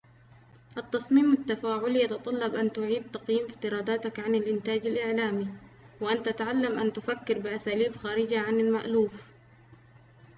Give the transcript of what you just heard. التصميم التفاعلي يتطلب أن تعيد تقييم افتراضاتك عن الإنتاج الإعلامي وأن تتعلم أن تفكر بأساليب خارجة عن المألوف